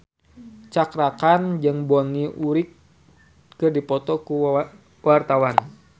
Cakra Khan jeung Bonnie Wright keur dipoto ku wartawan